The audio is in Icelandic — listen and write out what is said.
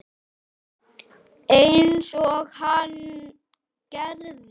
Einsog hann gerði.